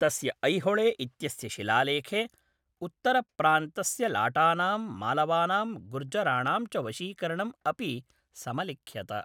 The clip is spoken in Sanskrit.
तस्य ऐहोळे इत्यस्य शिलालेखे उत्तरप्रान्तस्य लाटानां, मालवानां, गुर्जराणां च वशीकरणम् अपि समलिख्यत।